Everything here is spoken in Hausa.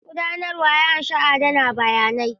Gudanarwa ya ƙunshi adana bayanai.